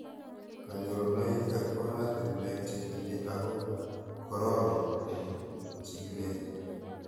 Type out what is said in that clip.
Kanyorunoik ak oratinwek che tile ako kororon kopun chikilet